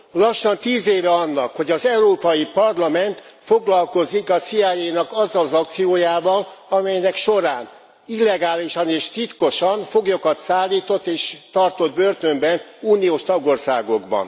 Lassan tíz éve annak, hogy az Európai Parlament foglalkozik a CIA nak azzal az akciójával, amelynek során illegálisan és titkosan foglyokat szállított és tartott börtönben uniós tagországokban.